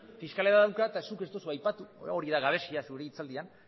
fiskalidadea dauka eta zuk ez duzu aipatu hori da gabezia zure hitzaldian